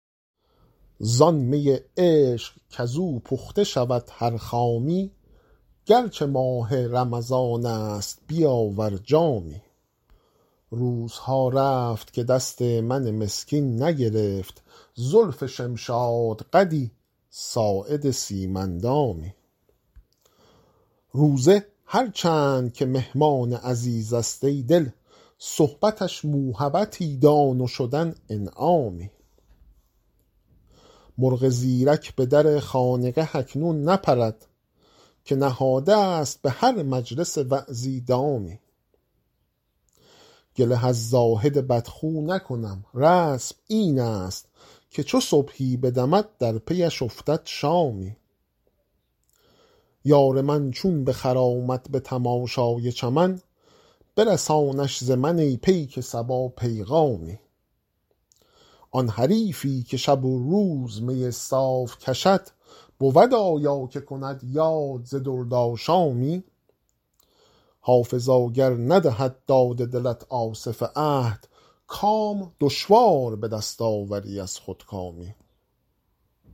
زان می عشق کز او پخته شود هر خامی گر چه ماه رمضان است بیاور جامی روزها رفت که دست من مسکین نگرفت زلف شمشادقدی ساعد سیم اندامی روزه هر چند که مهمان عزیز است ای دل صحبتش موهبتی دان و شدن انعامی مرغ زیرک به در خانقه اکنون نپرد که نهاده ست به هر مجلس وعظی دامی گله از زاهد بدخو نکنم رسم این است که چو صبحی بدمد در پی اش افتد شامی یار من چون بخرامد به تماشای چمن برسانش ز من ای پیک صبا پیغامی آن حریفی که شب و روز می صاف کشد بود آیا که کند یاد ز دردآشامی حافظا گر ندهد داد دلت آصف عهد کام دشوار به دست آوری از خودکامی